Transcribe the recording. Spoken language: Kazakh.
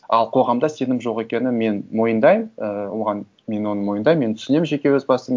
ал қоғамда сенім жоқ екенін мен мойындаймын і оған мен оны мойындаймын мен түсінемін жеке өз басым